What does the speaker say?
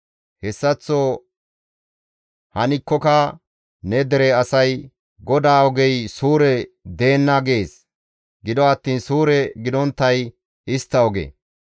«Hessaththo hankkoka ne dere asay, ‹GODAA ogey suure deenna› gees; gido attiin suure gidonttay istta oge.